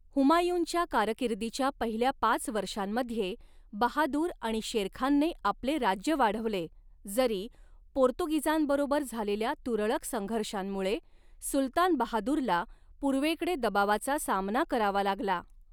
हुमायूँच्या कारकिर्दीच्या पहिल्या पाच वर्षांमध्ये, बहादूर आणि शेरखानने आपले राज्य वाढवले, जरी पोर्तुगीजांबरोबर झालेल्या तुरळक संघर्षांमुळे सुलतान बहादुरला पूर्वेकडे दबावाचा सामना करावा लागला.